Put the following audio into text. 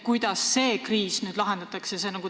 Kuidas see kriis nüüd lahendatakse?